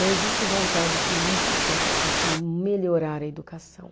Não existe vontade política para se melhorar a educação.